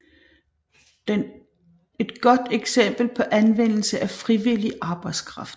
Den et godt eksempel på anvendelse af frivillig arbejdskraft